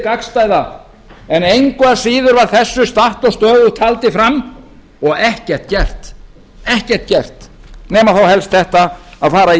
gagnstæða en engu að síður var þessu statt og stöðugt haldið fram og ekkert gert nema þá helst þetta að fara í